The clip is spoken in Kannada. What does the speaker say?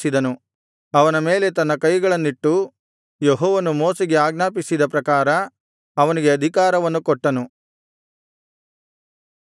ಅವನ ಮೇಲೆ ತನ್ನ ಕೈಗಳನ್ನಿಟ್ಟು ಯೆಹೋವನು ಮೋಶೆಗೆ ಆಜ್ಞಾಪಿಸಿದ ಪ್ರಕಾರ ಅವನಿಗೆ ಅಧಿಕಾರವನ್ನು ಕೊಟ್ಟನು